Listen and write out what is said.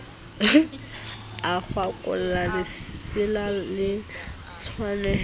a kwaholla lesela le kwahetseng